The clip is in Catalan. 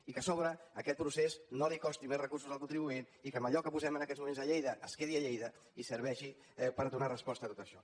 i que a sobre aquest procés no costi més recursos al contribuent i que allò que posem en aquests moments a lleida es quedi a lleida i serveixi per donar resposta a tot això